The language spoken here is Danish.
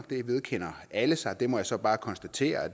det vedkender alle sig og det må jeg så bare konstatere at